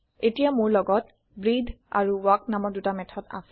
এতিয়া মোৰ লগত ব্ৰেটহে আৰু ৱাল্ক নামৰ দুটা মেথদ আছে